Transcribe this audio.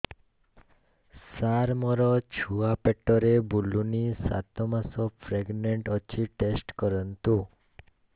ସାର ମୋର ଛୁଆ ପେଟରେ ବୁଲୁନି ସାତ ମାସ ପ୍ରେଗନାଂଟ ଅଛି ଟେଷ୍ଟ କରନ୍ତୁ